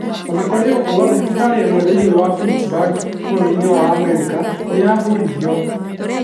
O na kũrĩ ũguo, thibitarĩ ĩmwe thĩinĩ wa Pittsburgh, bũrũri-inĩ wa Amerika, nĩ yahũrirũo.